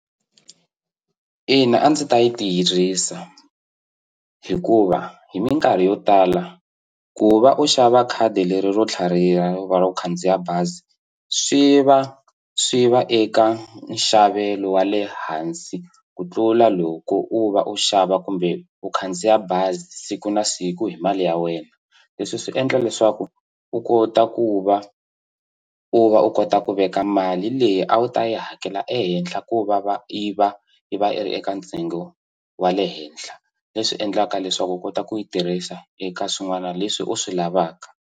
Ina a ndzi ta yi tirhisa hikuva hi minkarhi yo tala ku va u xava khadi leri ro tlhariha u va u khandziya bazi swi va swi va eka nxavelo wa le hansi ku tlula loko u va u xava kumbe u khandziya bazi siku na siku hi mali ya wena leswi swi endla leswaku u kota ku va u va u kota ku veka mali leyi a wu ta yi hakela ehenhla ko va va i va i va i ri eka ntsengo wa le henhla leswi endlaka leswaku u kota ku yi tirhisa eka swin'wana leswi u swi lavaka.